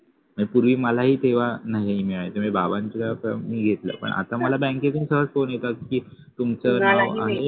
पूर्वी मलाही तेव्हा नाही मिळायचं म्हणजे बाबांचे आता मी घेतल पण आता मला बँकेकडून सहज phone येता की तुमचं